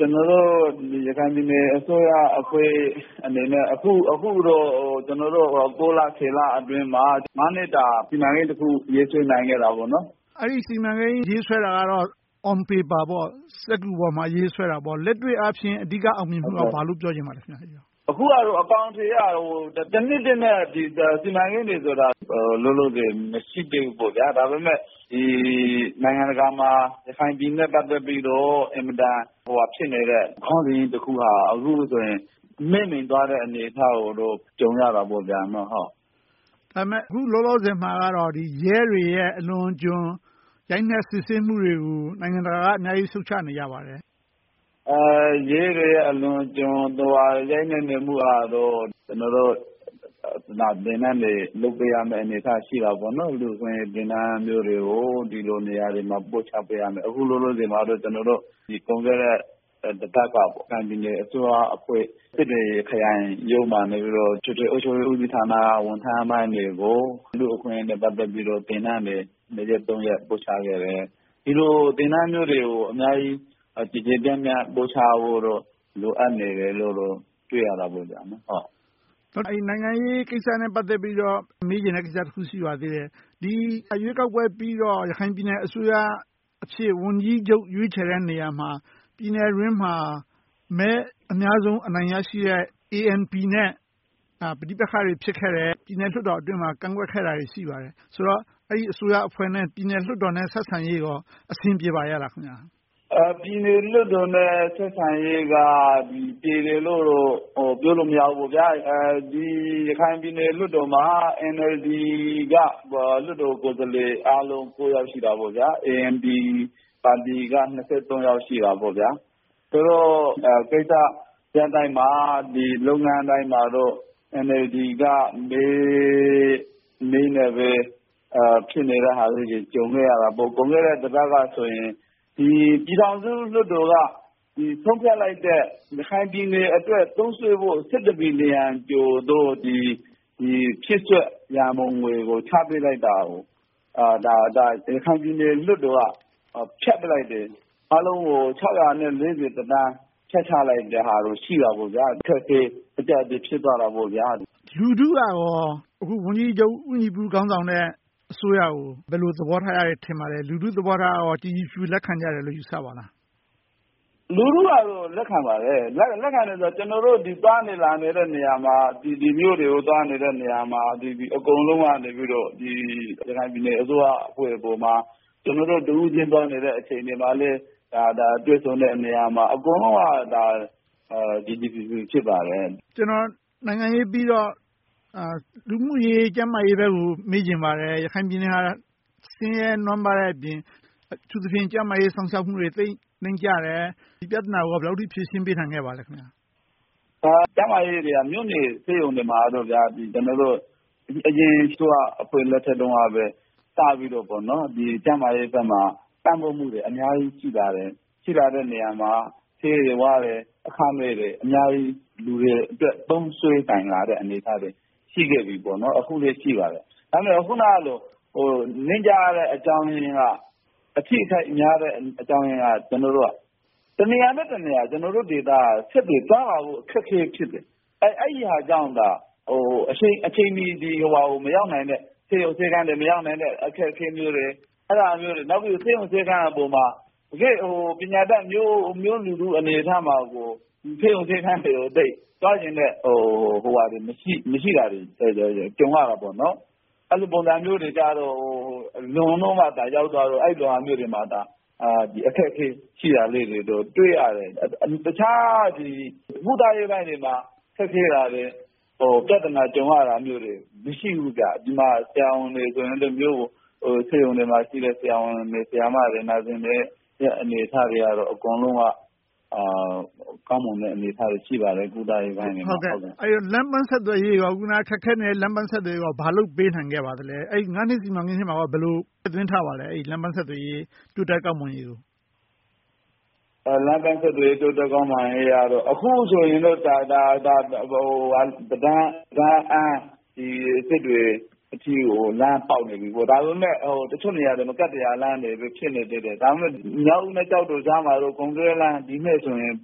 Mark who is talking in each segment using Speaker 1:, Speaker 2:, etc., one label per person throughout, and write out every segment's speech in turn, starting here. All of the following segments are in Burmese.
Speaker 1: ကျနော်တို့ ရခိုင်ပြည်နယ်အစိုးရအဖွဲ့အနေနဲ့ အခုတော့ ကျနော်တို့ လ လအတွင်းမှာ နှစ်တာ စီမံကိန်းတခု ရေးဆွဲနိုင်ခဲ့တယ်။
Speaker 2: အဲဒီ စီမံကိန်း ရေးဆွဲတာကတော့ On paper ပေါ့။ စက္ကူပေါ်မှာ ရေးဆွဲတာပေါ့။ လက်တွေ့အားဖြင့် အဓိက အောင်မြင်မှုက ဘာလဲလို့ ပြောချင်ပါလဲ။
Speaker 1: အခုကတော့ အကောင်အထည်ကတော့ တနှစ်အတွက် စီမံကိန်းတွေဆိုတာ လောလောဆယ် မရှိသေးဘူး။ ဒါပေမဲ့ နိုင်ငံတကာမှာ ရခိုင်ပြည်နယ်နဲ့ ပတ်သက်ပြီး အင်မတန် ဟိုဟာဖြစ်နေတဲ့ ခေါင်းစဉ်ကြီးတခုကဆိုရင် မှေးမှိန်သွားတယ်ဆိုတဲ့ သဘောကိုတော့ ကြုံရတာပေါ့။
Speaker 2: ဒါပေမဲ့ အခုလောလောဆယ်မှာတော့ ရဲတွေရဲ့ အလွန်အကျွံ ရိုက်နှက်စစ်ဆေးမှုတွေကို နိုင်ငံတကာက အများကြီး ရှုတ်ချနေပါတယ်။
Speaker 1: ရဲတွေရဲ့ အလွန်အကျွံ ရိုက်နှက်နေမှုကတော့ ကျနော်တို့ သင်တန်းတွေ လုပ်ပေးရမယ့် အနေအထားရှိနေပါတယ်။ လူ့အခွင့်အရေး သင်တန်းမျိုးတွေကို ဒီလိုနေရာတွေမှာ ပို့ချပေးရမယ်။ အခုလောလောဆယ်မှာ ကုန်ခဲ့တဲ့ ရခိုင်ပြည်နယ်အစိုးရအဖွဲ့ စစ်တွေခရိုင်ရုံးမှာနေပြီးတော့ အထွေထွေအုပ်ချုပ်ရေး ဦးစီးဌာနက ဝန်ထမ်းပိုင်းတွေကို လူ့အခွင့်အရေးနဲ့ ပတ်သက်ပြီးတော့ သင်တန်းတွေ နှစ်ရက်သုံးရက် ပို့ချခဲ့တယ်။ ဒီလို သင်တန်းမျိုးတွေကို အများကြီး ကျယ်ကျယ်ပြန့်ပြန့် ပို့ချဖို့တော့ လိုအပ်နေတယ်လို့တော့ တွေ့ရတယ်။
Speaker 2: နိုင်ငံရေးကိစ္စနဲ့ ပတ်သက်ပြီးတော့ မေးချင်တဲ့ကိစ္စ တခုရှိပါသေးတယ်။ ဒီရွေးကောက်ပွဲပြီးတော့ ရခိုင်ပြည်နယ်အစိုးရအဖြစ် ဝန်ကြီးချုပ် ရွေးချယ်တဲ့နေရာမှာ ပြည်နယ်အတွင်းမှာ မဲအများဆုံး အနိုင်ရရှိတဲ့ ANP နဲ့ ပဋိပက္ခတွေ ဖြစ်ခဲ့တယ်။ ပြည်နယ်လွှတ်တော်အတွင်းမှာ ကန့်ကွက်ခဲ့တာတွေ ရှိခဲ့ပါတယ်။ ဆိုတော့ အဲဒီ အစိုးရအဖွဲ့နဲ့ ပြည်နယ်လွှတ်တော်ဆက်ဆံရေးတို့ အဆင်ပြေပါရဲ့လား။
Speaker 1: ပြည်နယ်လွှတ်တော်နဲ့ ဆက်ဆံရေးက ပြေလည်တယ်လို့တော့ ပြောလို့မရဘူး။ ဒီ ရခိုင်ပြည်နယ်လွှတ်တော်မှာ NLD က လွှတ်တော်ကိုယ်စားလှယ်အားလုံး ယောက် ရှိတာပေါ့။ ANP ပါတီက ယောက် ရှိတယ်။ ဆိုတော့ ကိစ္စရပ်တိုင်းမှာ လုပ်ငန်းတိုင်းမှာတော့ NLD က မဲအနည်းနဲ့ပဲ ဖြစ်နေတဲ့ဟာလေးတွေ ကြုံခဲ့ရတာပေါ့။ ကုန်ခဲ့တဲ့တပတ်ကဆို ပြည်ထောင်စုလွှတ်တော်က ဆုံးဖြတ်လိုက်တဲ့ ရခိုင်ပြည်နယ်အတွက် သုံးစွဲဖို့ ဘီလီယန်ကျော်သော် ဖြည့်စွက်ရန်ပုံငွေတွေကို ချပေးလိုက်တာကို ရခိုင်ပြည်နယ်လွှတ်တော်က ဖျက်ပစ်လိုက်တယ်။ အားလုံးကို သန်း ဖြတ်ချလိုက်တာတို့ ရှိတယ်။ အခက်အခဲ၊ အကျပ်အတည်း ဖြစ်သွားတာတွေ ရှိတာပေါ့။
Speaker 2: လူထုက အခု ဝန်ကြီးချုပ်ဦးညီပု ဦးဆောင်တဲ့ အစိုးရကို ဘယ်လို သဘောထားကြတယ် ထင်ပါလဲ။ လူထုသဘောထားက ကြည်ကြည်ဖြူဖြူ လက်ခံကြတယ်လို့ ယူဆပါလား။
Speaker 1: လူထုကတော့ လက်ခံပါတယ်။ ကျနော်တို့ သွားနေလာနေတဲ့ နေရာမှာ ဒီမြို့တွေကို သွားနေတဲ့ နေရာမှာ အကုန်လုံးကနေ ရခိုင်ပြည်နယ်အစိုးရ အဖွဲ့ပေါ်မှာ၊ ကျနော်တို့ တဦးချင်းသွားနေတဲ့ အချိန်တွေမှာ၊ တွေ့ဆုံတယ်နေရာမှာ အကုန်လုံးက ကြည်ကြည်ဖြူဖြူ ဖြစ်ပါတယ်။
Speaker 2: နိုင်ငံရေးပြီးတော့ လူမှုရေး၊ ကျန်းမာရေးဘက်ကို မေးချင်ပါတယ်။ ရခိုင်ပြည်နယ်ဟာ ဆင်းရဲနွှမ်းပါးတဲ့အပြင် အထူးသဖြင့် ကျန်းမာရေး စောင့်ရှောက်မှုတွေ သိပ်နှိမ့်ကျတယ်။ ဒီကိစ္စကိုလည်း ဘယ်လောက်အထိ ဖြေရှင်းပေးနိုင်ခဲ့ပါလဲ။
Speaker 1: ကျန်းမာရေးကတော့ မြို့နယ်ဆေးရုံတွေမှာ အရင် အစိုးရအဖွဲ့ လက်ထက်တုန်းက စပြီးတော့ ကျန်းမာရေးဘက်ကမှာ ပံ့ပိုးမှုတွေ အများကြီး ရှိပါတယ်။ ရှိလာတဲ့နေရာမှာ ဆေးတွေဝါးတွေ အခမဲ့တွေ အများကြီး လူတွေအတွက် သုံးစွဲလာနိုင်တဲ့ အနေအထားတွေ ရှိခဲ့ပြီပေါ့။ အခုလဲ ရှိပါတယ်။ ဒါပေမဲ့ အခုနလို နှိမ့်ကျတဲ့ အကြောင်းရင်းက အထိအခိုက်များတဲ့ အကြောင်းရင်းက တနေရာနဲ့တနေရာ ကျနော်တို့ဒေသက ဆက်သွယ်သွားလာဖို့ အခက်အခဲ ဖြစ်တယ်။ အဲဒါကြောင့်သာ အချိန်မီ မရောက်နိုင်တဲ့ ဆေးရုံ၊ ဆေးခန်းတွေ မရောက်နိုင်တဲ့ အခက်အခဲမျိုးတွေ။ နောက်ပြီးတော့ ဆေးရုံဆေးခန်အပေါ်မှာ ပညာတတ်မျိုးလူထုမှာတောင် ဆေးရုံဆေးခန်းတွေ သွားချင်တဲ့ မရှိတာတွေ ကြုံရတယ်။ အဲဒီလိုမျိုးတွေက လွန်တော့မှ ရောက်သွားတော့ အခက်အခဲ ရှိတာလေးတွေကို တွေ့ရတယ်။ တခြား ကုသရေးပိုင်းတွေမှာ ခက်ခဲတာတွေ၊ ပြဿနာ ကြုံရတာမျိုးတွေ မရှိဘူး။ ဒီမှာ ဆရာဝန်တွေက မြို့မှာရှိတဲ့ ဆရာဝန်တွေ၊ Nurses တွေရဲ့ အနေအထားကတော့ အကုန်လုံးက ကောင်းမွန်တဲ့ အနေအထားတွေ ရှိပါတယ်။ ကုသရေးပိုင်းတွေမှာ။
Speaker 2: လမ်းပန်ဆက်သွယ်ရေး အခုန ခက်ခဲနေတဲ့ လမ်းပန်ဆက်သွယ်ရေးကို ဘာလုပ်ပေးနိုင်ခဲ့ပါလဲ။ နှစ် စီမံကိန်းထဲမှာ ဘယ်လို ထည့်သွင်းထားပါလဲ။ လမ်းပန်ဆက်သွယ်ရေး တိုးတက်ကောင်းမွန်ရေးကို။
Speaker 1: လမ်းပန်ဆက်သွယ်ရေး တိုးတက်ကောင်းမွန်ရေးကတော့ အခုဆိုရင် ပဒမ်း - ဒမ်းအန် - စစ်တွေ အထိကို လမ်းပေါက်နေပြီ။ ဒါပေမဲ့ တချို့နေရာတွေမှာ ကတ္တရားလမ်းတွေ ဖြစ်နေသေးတယ်။ ဒါပေမဲ့ မြောက်ဦး နဲ့ ကျောက်တောကြားမှာတော့ ကုန်တွယ်လမ်း - ဒီနှစ်ဆိုရင်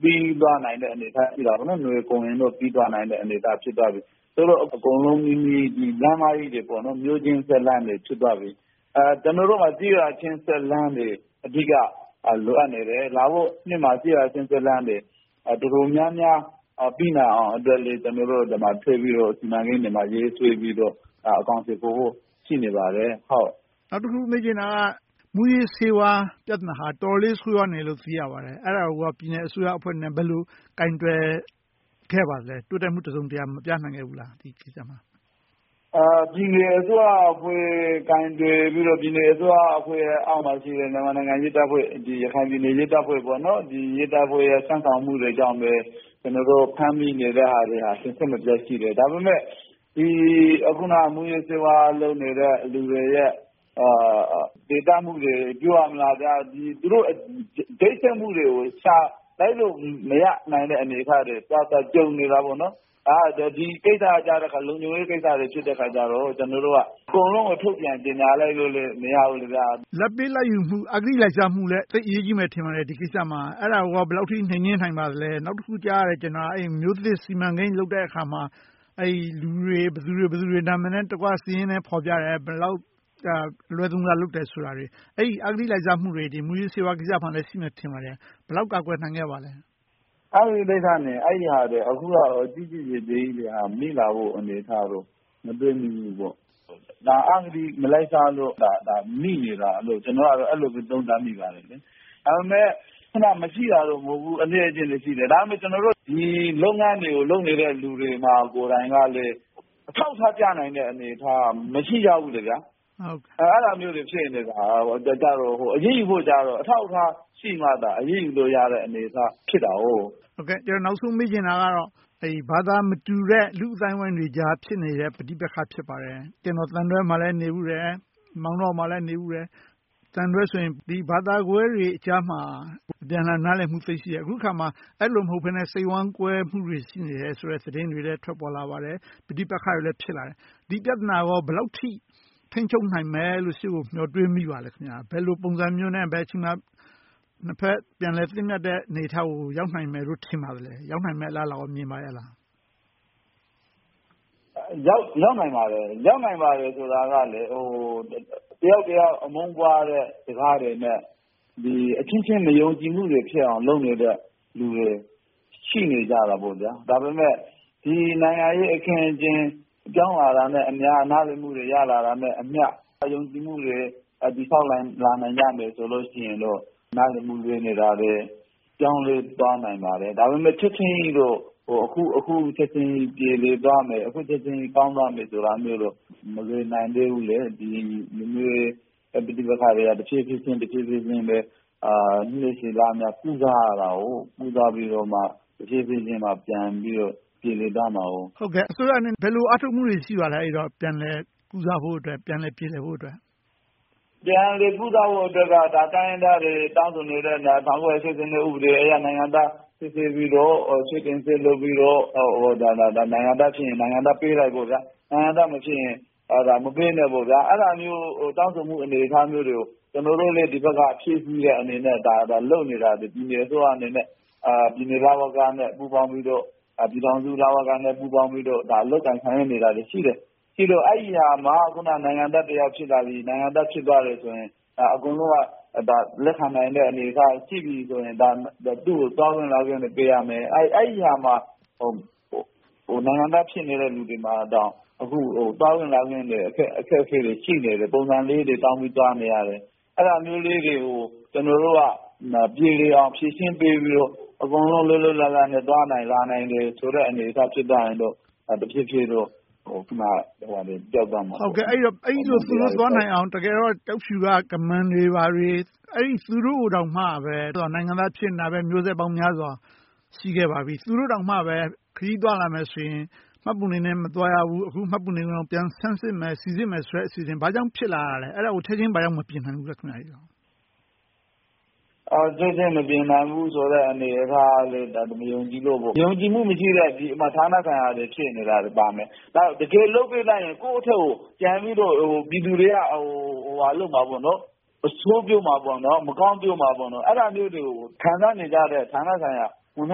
Speaker 1: ပြီးသွားနိုင်တဲ့ အနေအထား နွေကုန်ရင်တော့ ပြီးသွားပြီ။ သို့သော် အကုန်လုံးနီးနီး လမ်းမကြီးတွေ၊ မြို့ချင်းဆက်လမ်းတွေ ဖြစ်သွားပြီ။ ကျနော်တို့မှာ ကျေးရွာချိတ်ဆက်လမ်းတွေ အဓိက လိုအပ်နေတယ်။ လာမယ့်နှစ်မှာ ကျေးရွာလမ်းတွေ တော်တော်များများ ပြီးနိုင်အောင်အတွက်လည်း ကျနော်တို့ ထပ်ပြီးတော့ စီမံကိန်းတွေမှာ ရေးဆွဲပြီးတော့ အကောင်အထည်ဖော်ဖို့ ရှိနေပါတယ်။
Speaker 2: နောက်တခု မေးချင်တာက မူးယစ်ဆေးဝါး ပြဿနာဟာ တော်တော်လေး ဆိုးဝါးနေတယ်လို့ သိရပါတယ်။ အဲဒါကိုကော ပြည်နယ်အစိုးရအဖွဲ့အနေနဲ့ ဘယ်လို ကိုင်တွယ်ခဲ့ပါလဲ။ တိုးတက်မှု တစုံတရာ မပြနိုင်ခဲ့ဘူးလား။
Speaker 1: ပြည်နယ်အစိုးရအဖွဲ့ ကိုင်တွယ်ပြီးတော့ ပြည်နယ်အစိုးရအဖွဲ့အောက်မှာရှိတဲ့ ရဲတပ်ဖွဲ့ ရခိုင်ရဲတပ်ဖွဲ့ရဲ့ စွမ်းဆောင်ချက်တွေနဲ့ပဲ ဖမ်းမိနေတဲ့ဟာလေးတွေ စဉ်ဆက်မပြတ်ရှိတယ်။ အခုန မူးယစ်ဆေးဝါးလုပ်နေတဲ့ သူတွေရဲ့ ချိတ်ဆက်မှုတွေကိုရှာ လိုက်လုပ်မရနိုင်တဲ့ အနေအထားတွေ သွားကြုံနေတယ်။ ဒီကိစ္စတွေက လုံခြုံရေးကိစ္စတွေ ဖြစ်တယ်အခါကြတော့ အကုန်လုံးကို ထုတ်ပြန်ကြေညာလိုက်လို့မရဘူး။
Speaker 2: လာဘ်ပေးလာဘ်ယူမှု၊ အဂတိလိုက်စားမှုလည်း သိပ်အရေးကြီးမယ် ထင်ပါတယ်။ ဒီကိစ္စမှာ အဲဒါကို ဘယ်လောက်အထိ နှိမ်နှင်းနိုင်ပါလဲ။ နောက်တခု ကြားရတယ်။ မြို့သစ်စီမံကိန်း လုပ်တဲ့အခါမှာ လူတွေ ဘယ်သူတွေ ဘယ်သူတွေ နာမည်စာရင်းနဲ့တကွ ဖော်ပြတယ်။ ဘယ်လောက် အလွဲသုံးစား လုပ်တယ်ဆိုတာတွေ။ အဲဒီ အဂတိလိုက်စားမှုတွေ၊ မူးယစ်ဆေးဝါးကိစ္စမှာလည်း ရှိမယ်ထင်ပါတယ်။ ဘယ်လောက် ကာကွယ်နိုင်ခဲ့ပါလဲ။
Speaker 1: အဂတိလိုက်စားမှုနဲ့ အဲဒီဟာတွေ အခုဟာက မိလာဖို့ အနေအထားကတော့ မတွေ့မိဖူးဘူးပေါ့။ ဒါက အဂတိမလိုက်စားလို့ မိနေတာလို့ ကျနော်က အဲဒီလိုပဲ သုံးသပ်မိပါတယ်။ ဒါပေမဲ့ မရှိတာတော့ မဟုတ်ဘူး။ အသင့်အတင့်တော့ ရှိတယ်။ ကျနော်တို့ ဒီလုပ်ငန်းတွေကို လုပ်နေတဲ့ လူတွေကိုယ်တိုင်မှာလည်း အထောက်အထားပြနိုင်တဲ့ အနေအထားက မရှိကြဘူး။ အဲဒါမျိုးတွေ ဖြစ်နေတာ။ အရေးယူဖို့ကြတော့ အထောက်အထား ရှိမှသာ အရေးယူလို့ရတာ အနေအထား ဖြစ်တယ်။
Speaker 2: ကျနော် နောက်ဆုံး မေးချင်တာကတော့ ဘာသာမတူတဲ့ လူ့အသိုင်းအဝိုင်းတွေကြား ဖြစ်နေတဲ့ ပဋိပက္ခ ဖြစ်ပါတယ်။ ကျနော် သံတွဲမှာလည်း နေဖူးတယ်။ မောင်းတောမှာလည်း နေဖူးတယ်။ သံတွဲဆိုရင် ဘာသာကွဲတွေကြားမှာ အပြန်အလှန် နားလည်မှုတွေ သိပ်ရှိတယ်။ အခုအခါမှာ အဲဒီလို မဟုတ်ဘဲနဲ့ စိတ်ဝမ်းကွဲမှုတွေ ရှိနေတယ်ဆိုတဲ့ သတင်းတွေလည်း ထွက်ပေါ်လာပါတယ်။ ပဋိပက္ခတွေလည်း ဖြစ်လာတယ်။ ဒီပြဿနာကို ဘယ်လောက်အထိ ထိန်းချုပ်နိုင်ပါလဲလို့ ရှေ့ကိုမျှော်တွေးမိပါလဲ။ ဘယ်လိုပုံစံမျိုးနဲ့ ဘယ်အချိန်မှာ နှစ်ဘက်ပြန်လည်သင့်မြတ်တဲ့ အနေအထားကို ရောက်နိုင်မယ်လို့ ထင်ပါလဲ။ ရောက်နိုင်မယ့် အလားအလာကိုကော မြင်ပါရဲ့လား။
Speaker 1: ရောက်နိုင်ပါတယ်။ ရောက်နိုင်ပါတယ်ဆိုတာကလည်း တယောက်တယောက် အမုန်းပွားတဲ့ စကားတွေနဲ့ အချင်းချင်း ယုံကြည်မှုတွေ ဖြစ်နေတဲ့ လူတွေ ရှိနေကြတယ်။ ဒါပေမဲ့ ဒီနိုင်ငံရေး အခင်းအကျင်းတွေ ပြောင်းလာတာနဲ့အမျှ၊ နားလည်မှုတွေ ရလာတာနဲ့အမျှ ယုံကြည်မှုတွေ တည်ဆောက်လာနိုင်ကြမယ်ဆိုရင်တော့ နားလည်မှု လွှဲနေတာတွေ၊ ပြောင်းလဲသွားနိုင်ပါတယ်။ ဒါပေမဲ့ ချက်ချင်းကြီး အခုပြေလည်သွားမယ်၊ အခုချက်ချင်း ကောင်းသွားမယ်ဆိုတာတို့ မလွယ်နိုင်သေးဘူး။ လူမျိုးရေး ပဋိပက္ခတွေက တဖြည်းဖြည်းချင်း နှစ်ရှည်လများ ကုစားပြီးတော့ တဖြည်းဖြည်းချင်း ပြန်ပြီးပြေလည်သွားမှာ။
Speaker 2: အစိုးရအနေနဲ့ ဘယ်လို အားထုတ်မှုတွေ ရှိပါလဲ။ ပြန်လည်ကုစားဖို့အတွက်၊ ပြန်လည်ပြေလည်ဖို့အတွက်။
Speaker 1: ပြန်လည်ကုစားဖို့အတွက်က တိုင်းရင်းသားတွေ တောင်းဆိုနေတဲ့ ၁၉၈၂ ဥပဒေအရ နိုင်ငံသားစစ်ဆေးပြီးတော့ နိုင်ငံသားဖြစ်ရင် နိုင်ငံသားပေးလိုက်ပေါ့။ နိုင်ငံသားမဖြစ်ရင် မပေးနဲ့ပေါ့။ အဲဒါမျိုး တောင်းဆိုမှု အနေအထားတွေကို ကျနော်တို့လည်း ဒီဘက်က ဖြည့်ဆည်းတဲ့ အနေအထားနဲ့ လုပ်နေတာ ပြည်နယ်အစိုးရအနေနဲ့ ရှိတယ်။ ပြည်နယ် လဝကနဲ့ ပူးပေါင်းပြီးတော့၊ ပြည်ထောင်စု လဝကနဲ့ ပူးပေါင်းပြီးတော့ လုပ်ကိုင်ဆောင်ရွက်နေတာတွေ ရှိတယ်။ ရှိတော့ အဲဒီဟာမှာ နိုင်ငံသားတယောက် ဖြစ်လာပြီ။ နိုင်ငံသား ဖြစ်သွားတယ်ဆိုရင် အကုန်လုံးက လက်ခံနိုင်တဲ့ အနေအထားရှိပြီးဆိုရင် သူကို သွားခွင့်လာခွင့်တွေ ပေးရမယ်။ အဲဒီဟာမှာ နိုင်ငံသားဖြစ်နေတဲ့ လူတွေမှာတောင် အခု သွားခွင့်လာခွင့်တွေ အခက်အခဲတွေ ရှိနေတယ်။ ပုံစံလေးတွေ တောင်းပြီးတော့ သွားနေရတယ်။ အဲဒါမျိုးလေးတွေကို ကျနော်တို့က ပြေလည်အောင် ဖြေရှင်းပေးပြီးတော့ အကုန်လုံး လွတ်လွတ်လပ်လပ်နဲ့ သွားလာနိုင်တယ်ဆိုတဲ့ အနေအထား ဖြစ်လာရင်တော့ တဖြည်းဖြည်းနဲ့ ပဋိပက္ခတွေ ပျောက်သွားမှာပေါ့။
Speaker 2: အဲဒီလို သွားလာနိုင်အောင် ကျောက်ဖြူက ကမန်းတွေ ဘာတွေ အဲဒီသူတို့ကိုတောင်မှပဲ နိုင်ငံသား ဖြစ်နေတာပဲ၊ မျိုးဆက်ပေါင်းများစွာ ရှိခဲ့ပါပြီ။ သူတို့ကိုတောင်မှပဲ ခရီးသွားလာမယ်ဆိုရင် မှတ်ပုံတင်နဲ့ မသွားရဘူး။ မှတ်ပုံတင်ကို ပြန်စမ်းစစ်မယ်။ စီစစ်မယ်ဆိုတဲ့ အစီအစဉ် ဘာကြောင့် ဖြစ်လာခဲ့တာလဲ။ အဲဒါကို ချက်ချင်း ဘာကြောင့် မပြင်နိုင်ဘူးလဲ။
Speaker 1: ချက်ချင်း မပြင်နိုင်ဘူးဆိုတဲ့ အနေအထားကလည်း မယုံကြည်လို့ပေါ့။ ယုံကြည်မှု မရှိတဲ့ ဌာနဆိုင်ရာတွေ ဖြစ်နေတာပါမယ်။ တကယ်လုပ်ပေးလိုက်ရင် ကိုယ့်ကို ပြည်သူတွေက ပြန်ပြီးတော့ အဆိုးပြောမယ်၊ မကောင်းပြောမှာပေါ့။ အဲဒါမျိုးတွေကို ခံစားနေကြတဲ့ ဌာနဆိုင်ရာ ဝန်ထ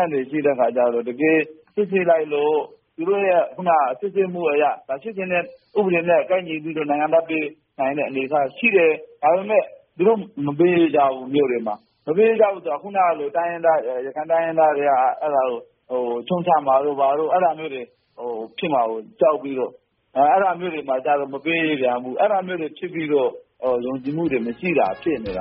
Speaker 1: မ်းတွေ ရှိကြတဲ့အခါကြတော့ တကယ်စစ်ဆေးလိုက်လို့ သူတို့ရဲ့ စစ်ဆေးမှုအရ ဖြစ်ချင်တဲ့ ဥပဒေနဲ့ ကိုက်ညီတဲ့ နိုင်ငံသားပေးနိုင်တဲ့ အနေအထားရှိတယ်။ ဒါပေမဲ့ သူတို့ မြို့တွေမှာ မပေးကြဘူး။ မပေးကြဘူးဆိုတာ အခုနလလို ရခိုင်တိုင်းရင်းသားတွေက အဲဒါကို ရှုံချမှာတို့ အဲဒါမျိုးတွေ ဖြစ်မှာကို ကြောက်ပြီးတော့ မပေးပြန်ဘူး။ အဲဒါမျိုးတွေ ဖြစ်ပြီးတော့ ယုံကြည်မှုတွေ မရှိတာ ဖြစ်နေတ